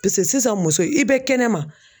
Pese sisan muso i bɛ kɛnɛma